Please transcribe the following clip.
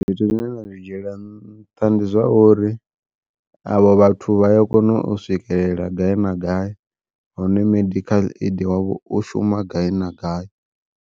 Zwithu zwine nda zwi dzhiela nṱha ndi zwa uri avho vhathu vha ya kona u swikelela gai na gai, hune medikhaḽa aidi wavho u shuma gai na gai.